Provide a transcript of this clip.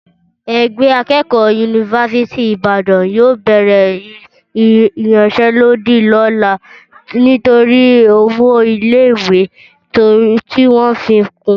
Ẹgbẹ́ akẹ́kọ̀ọ́ yunifásítì Ìbàdàn yóò bẹ̀rẹ̀ ìyanṣẹ́lódì lọ́la nítorí owó ilé ìwé tí wọ́n fi kún